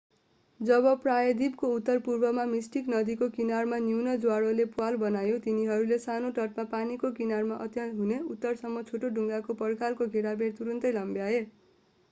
जब प्रायद्वीपको उत्तरपूर्वमा मिस्टिक नदीको किनारमा न्यून ज्वारले प्वाल बनायो तिनीहरूले सानो तटमा पानीको किनारा अन्त्य हुने उत्तरसम्म छोटो ढुङ्गाको पर्खालको घेराबार तुरुन्तै लम्ब्याए